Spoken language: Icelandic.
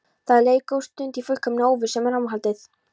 Það leið góð stund í fullkominni óvissu um framhaldið.